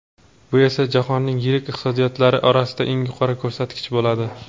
Bu esa jahonning yirik iqtisodiyotlari orasida eng yuqori ko‘rsatkich bo‘ladi.